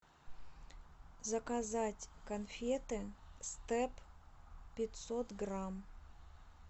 заказать конфеты степ пятьсот грамм